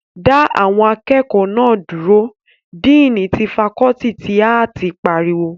Dá àwọn akẹ́kọ̀ọ́ náà dúró! díìní ti fakọọti ti áàtì pariwo